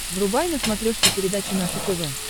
врубай на смотрешке передачу наше тв